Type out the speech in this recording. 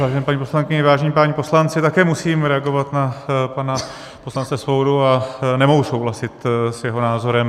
Vážené paní poslankyně, vážení páni poslanci, také musím reagovat na pana poslance Svobodu a nemohu souhlasit s jeho názorem.